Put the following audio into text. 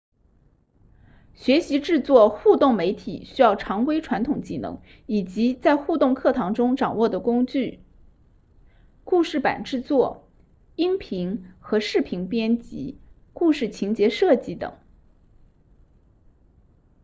学习制作互动媒体需要常规传统技能以及在互动课程中掌握的工具故事板制作音频和视频编辑故事情节设计等